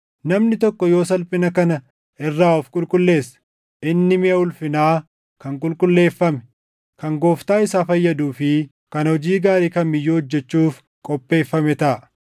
Namni tokko yoo salphina kana irraa of qulqulleesse, inni miʼa ulfinaa kan qulqulleeffame, kan Gooftaa isaa fayyaduu fi kan hojii gaarii kam iyyuu hojjechuuf qopheeffame taʼa.